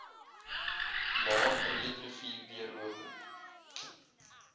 laer breederivier deurlopend